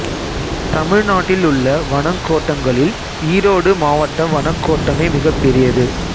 தமிழ்நாட்டிலுள்ள வனக் கோட்டங்களில் ஈரோடு மாவட்ட வனக் கோட்டமே மிகப் பெரியது